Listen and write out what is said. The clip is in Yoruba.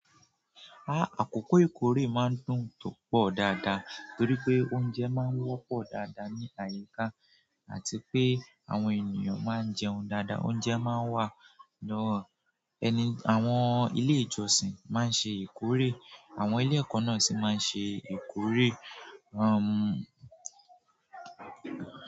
Ah, àkókò ìkórè máa ń dùn púpọ̀ dáadáa torí pé oúnjẹ máa ń wọ́pọ̀ dáadáa ní àyíká àti pé àwọn ènìyàn máa ń jẹun dáadáa. Oúnjẹ máa ń wà lọ́wọ́ ẹni, àwọn ilé ìjọsìn máa ń ṣe ìkórè, àwọn ilé ẹ̀kọ́ náà sì máa ń ṣe ìkórè. Um.